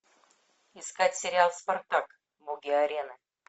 искать сериал спартак боги арены